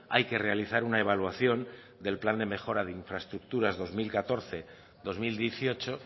hay que realizar una evaluación del plan de mejora de infraestructuras dos mil catorce dos mil dieciocho